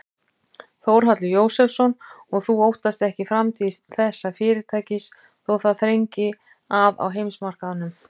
Þórhallur Jósefsson: Og þú óttast ekki framtíð þessa fyrirtækis þó það þrengi að á heimsmarkaðnum?